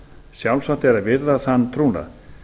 sjálfsagt er að virða þann trúnað